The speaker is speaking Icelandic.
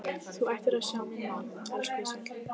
Þú ættir að sjá mig núna, elskhugi sæll.